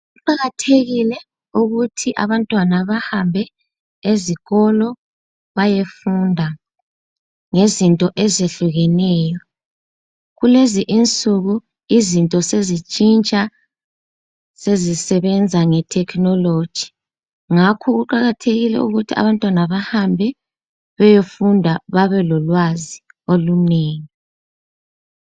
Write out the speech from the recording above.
Kuqathekile ukuthi abantwana bahambe ezikolo bayefunda ngezinto ezehlukeneyo. Kulezi insuku izinto sezitshintsha sezisebenza ngethekhinoloji, ngakho kuqakathekile ukuthi abantwana bahambe beyofunda babe lolwazi olunengi.